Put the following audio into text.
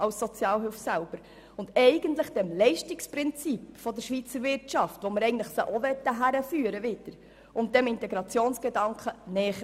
Eigentlich käme dies dem Leistungsprinzip der Schweizer Wirtschaft, wohin wir die Betroffenen führen möchten, und dem Integrationsgedanken näher.